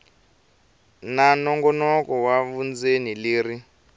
ra nongonoko wa vundzeni leri